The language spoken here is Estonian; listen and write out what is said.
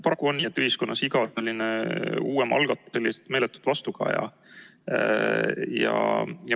Paraku on nii, et ühiskonnas iga selline uuem algatus saab meeletut vastukaja.